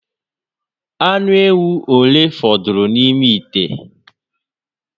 Ànù éwú ole fọdụrụ n'ime ite?